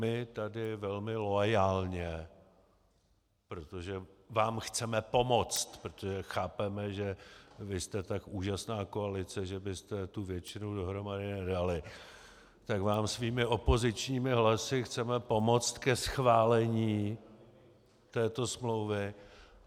My tady velmi loajálně, protože vám chceme pomoct, protože chápeme, že vy jste tak úžasná koalice, že byste tu většinu dohromady nedali, tak vám svými opozičními hlasy chceme pomoct ke schválení této smlouvy.